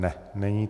Ne, není.